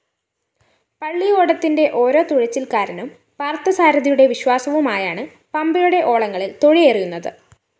പള്ളിയോടത്തിന്റെ ഓരോ തുഴച്ചില്‍ക്കാരനും പാര്‍ഥസാരഥിയുടെ വിശ്വാസവുമായാണ് പമ്പയുടെ ഓളങ്ങളില്‍ തുഴയെറിയുന്നത്